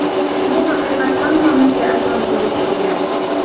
Bu haqiqat hammamizga ayon bo‘lishi kerak.